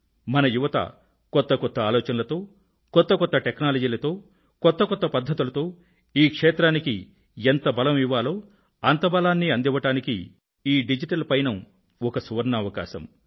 మన యువత కొత్త కొత్త ఆలోచనలతో కొత్త కొత్త టెక్నాలజీలతో కొత్త కొత్త పధ్ధతులతో ఈ క్షేత్రానికి ఎంత బలం ఇవ్వాలో అంత బలాన్నీ అందివ్వడానికి ఈ డిజిటల్ పయనం ఒక సువర్ణావకాశం